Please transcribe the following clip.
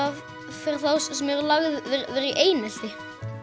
fyrir þá sem eru lagðir í einelti